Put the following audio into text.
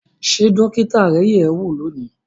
Ṣé dókítà rẹ yẹ̀ ẹ́ wò lónìí